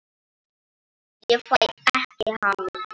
Ég fæ ekki hamið mig.